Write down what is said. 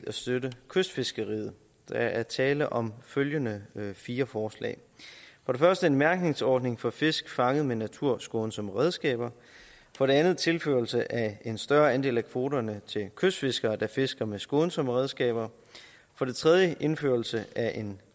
at støtte kystfiskeriet der er tale om følgende fire forslag for det første en mærkningsordning for fisk fanget med naturskånsomme redskaber for det andet tilførelse af en større andel af kvoterne til kystfiskere der fisker med skånsomme redskaber for det tredje indførelse af en